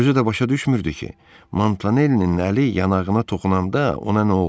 Özü də başa düşmürdü ki, Montanellinin əli yanağına toxunanda ona nə oldu.